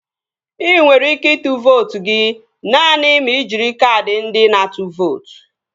Ị nwere ike ịtụ vootu gị naanị ma ị jiri kaadị ndị na-atụ vootu